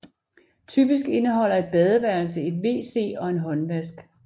Typisk indeholder et badeværelse et wc og en håndvask